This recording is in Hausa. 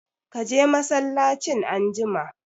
Ka je masallacin anjima!